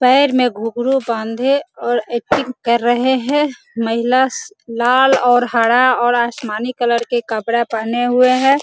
पैर में घुंघरू बांधे और एक्टिंग कर रहे है महिला लाल और हरा और आसमानी कलर का कपड़ा पहने हुए है।